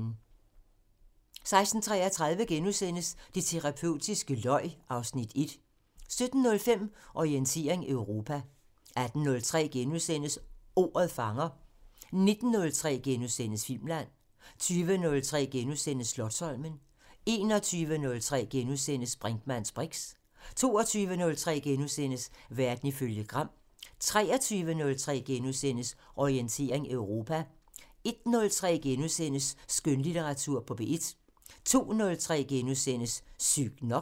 16:33: Det terapeutiske løg (Afs. 1)* 17:05: Orientering Europa 18:03: Ordet fanger * 19:03: Filmland * 20:03: Slotsholmen * 21:03: Brinkmanns briks * 22:03: Verden ifølge Gram * 23:03: Orientering Europa * 01:03: Skønlitteratur på P1 * 02:03: Sygt nok *